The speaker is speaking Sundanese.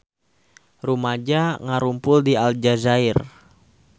Rumaja ngarumpul di Aljazair